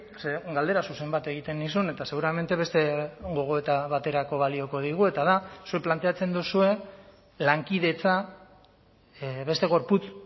ze galdera zuzen bat egiten nizun eta seguramente beste gogoeta baterako balioko digu eta da zuek planteatzen duzue lankidetza beste gorputz